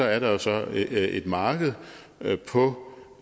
er der jo så et marked på